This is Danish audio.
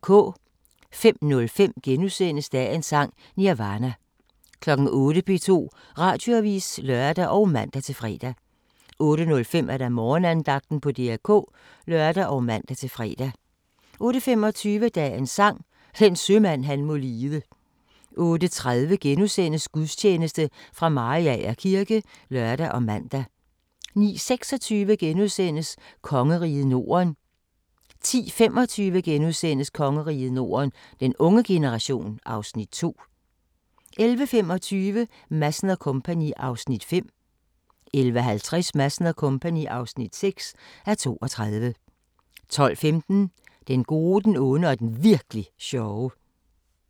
05:05: Dagens Sang: Nirvana * 08:00: P2 Radioavis (lør og man-fre) 08:05: Morgenandagten på DR K (lør og man-fre) 08:25: Dagens Sang: Den sømand han må lide 08:30: Gudstjeneste fra Mariager kirke *(lør og man) 09:26: Kongeriget Norden * 10:25: Kongeriget Norden - den unge generation (Afs. 2)* 11:25: Madsen & Co. (5:32) 11:50: Madsen & Co. (6:32) 12:15: Den gode, den onde og den Virk'li sjove